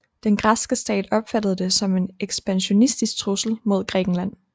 Den græske stat opfattede det som en ekspansionistisk trussel mod Grækenland